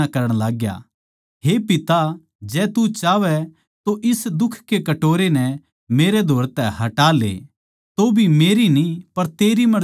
हे पिता जै तू चाहवै तो इस दुख के कटोरै नै मेरै धोरै तै हटा ले तौभी मेरी न्ही पर तेरी मर्जी पूरी हो